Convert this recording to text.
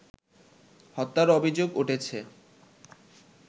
হত্যার অভিযোগ উঠেছে